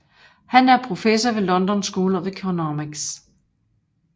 Han er professor ved London School of Economics